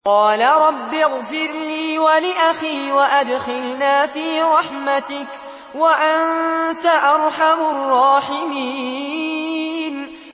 قَالَ رَبِّ اغْفِرْ لِي وَلِأَخِي وَأَدْخِلْنَا فِي رَحْمَتِكَ ۖ وَأَنتَ أَرْحَمُ الرَّاحِمِينَ